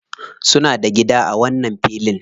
Suna da gida a wannan filin.